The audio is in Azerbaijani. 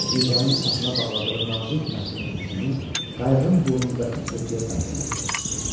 Nizənin sapına bağladığı nazik məftilin ucunu qayığın burnundakı kütüyə bənd eləmişdi.